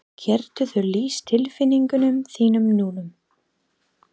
Geturðu lýst tilfinningum þínum núna?